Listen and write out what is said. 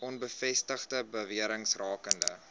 onbevestigde bewerings rakende